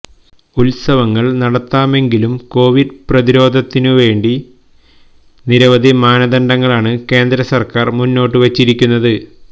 ഉത്സവങ്ങൾ നടത്താമെങ്കിലും കോവിഡ് പ്രതിരോധത്തിനു വേണ്ടി നിരവധി മാനദണ്ഡങ്ങളാണ് കേന്ദ്ര സർക്കാർ മുന്നോട്ട് വെച്ചിരിക്കുന്നത്